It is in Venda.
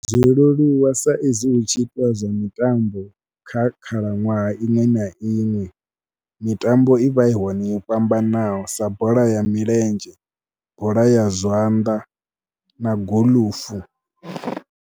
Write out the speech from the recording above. Zwo leluwa sa izwi hu tshi itiwa zwa mitambo kha khalaṅwaha iṅwe na iṅwe, mitambo i vha i hone i fhambanaho sa bola ya milenzhe, bola ya zwanḓa na golufu.